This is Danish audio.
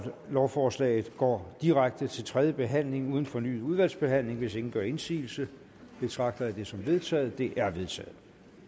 lovforslaget går direkte til tredje behandling uden fornyet udvalgsbehandling hvis ingen gør indsigelse betragter jeg dette som vedtaget det er vedtaget